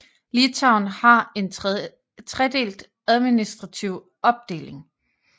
Litauen har en tredelt administrative opdeling